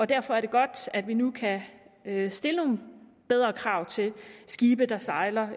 derfor er det godt at vi nu kan kan stille nogle bedre krav til skibe der sejler